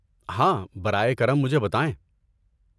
ہاں، برائے کرم مجھے بتائیں۔